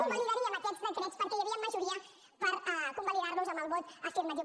convalidaríem aquests decrets perquè hi havia majoria per convalidar los amb el vot afirmatiu